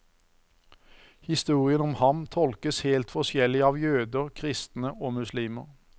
Historien om ham tolkes helt forskjellig av jøder, kristne og muslimer.